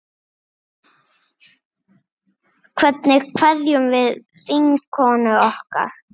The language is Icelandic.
Hvernig kveðjum við vinkonu okkar?